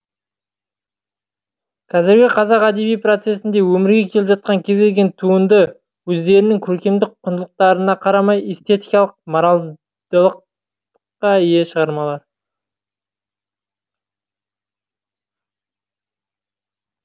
қазіргі қазақ әдеби процесінде өмірге келіп жатқан кез келген туынды өздерінің көркемдік құндылықтарына қарамай эстетикалық модальдылыққа ие шығармалар